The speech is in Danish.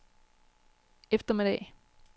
eftermiddag